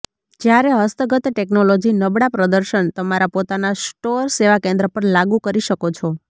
જ્યારે હસ્તગત ટેકનોલોજી નબળા પ્રદર્શન તમારા પોતાના સ્ટોર સેવા કેન્દ્ર પર લાગુ કરી શકો છો